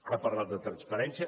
ha parlat de transparència